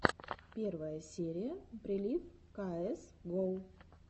первая серия прилив каэс гоу